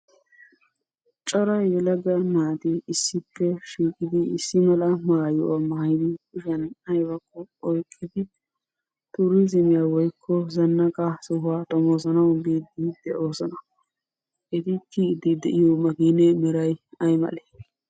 Cora yelaga naati issippe shiiqidi issi mala mayuwa mayidi kushiyan ayibakko oyiqqidi turiizimiya woyikko zannaqa sohuwa xomoosanawu biiddi de'oosona. Eti kiyiiddi de'iyo makkinee meray ayi malee?